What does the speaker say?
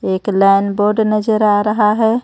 एक लैनबॉर्ड नजर आ रहा है.